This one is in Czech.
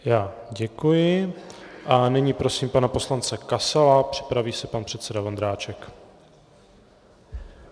Já děkuji a nyní prosím pana poslance Kasala, připraví se pan předseda Vondráček.